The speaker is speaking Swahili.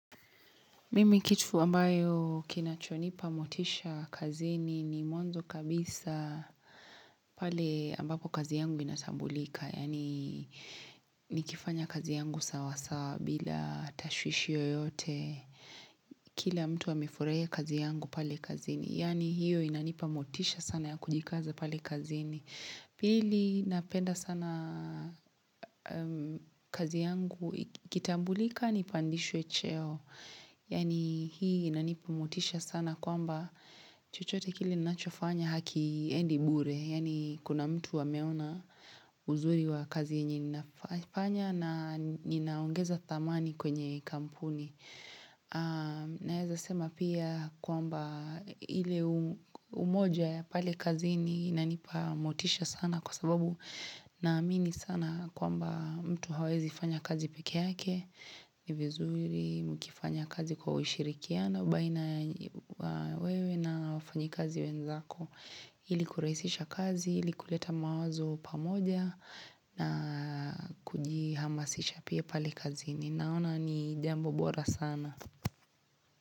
Mimi kitu ambayo kinachonipa motisha kazini ni mwanzo kabisa pale ambapo kazi yangu inatambulika. Yaani nikifanya kazi yangu sawa sawa bila tashwishi yoyote. Kila mtu amefurahia kazi yangu pale kazini. Yaani hiyo inanipa motisha sana ya kujikaza pale kazini. Pili napenda sana kazi yangu ikitambulika nipandishwe cheo. Yaani hii inanipea motisha sana kwamba chochote kile ninachofanya haiendi bure Yaani kuna mtu ameona uzuri wa kazi yenye ninafanya na ninaongeza thamani kwenye kampuni Naeza sema pia kwamba ile umoja ya pale kazi inanipea motisha sana Kwa sababu naamini sana kwamba mtu hawezi fanya kazi pekee yake ni vizuri mkifanya kazi kwa ushirikiana baina ya wewe na wafanyikazi wenzako Hili kurahisisha kazi, ili kuleta mawazo pamoja na kujihamasisha pia pali kazini Naona ni jambo bora sana.